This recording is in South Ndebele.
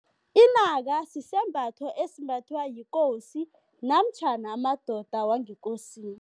Inaka sisembatho esimbathwa yikosi namtjhana amadoda wangekosini.